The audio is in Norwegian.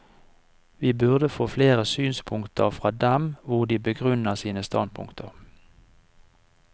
Vi burde få flere synspunkter fra dem hvor de begrunner sine standpunkter.